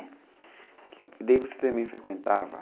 É. E daí você também frequentava?